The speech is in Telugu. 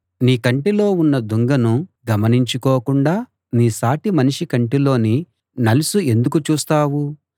నీ కంటిలో ఉన్న దుంగను గమనించుకోకుండా నీ సాటి మనిషి కంటిలోని నలుసు ఎందుకు చూస్తావు